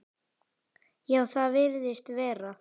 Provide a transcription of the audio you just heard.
Já, það virðist vera.